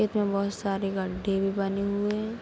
खेत में बहुत सारे गड्ढे भी बने हुए हैं।